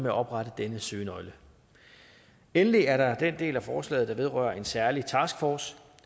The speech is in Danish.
at oprette denne søgenøgle endelig er der den del af forslaget der vedrører en særlig taskforce